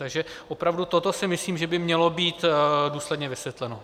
Takže opravdu toto si myslím, že by mělo být důsledně vysvětleno.